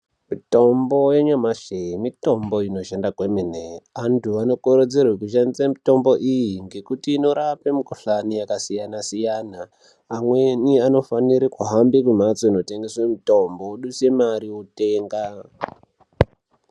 Mitombo yanyamashi, mitombo inoshanda kwemene. Vantu anokurudzirwe kushandisa mitombo iyi ngokuti inorape mikuhlani yakasiyana-siyana. Amweni anofanire kuhamba kumphatso inotengese mitombo odusa mare otenga.